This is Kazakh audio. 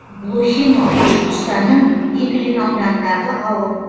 блохино башқұртстанның иглин ауданындағы ауыл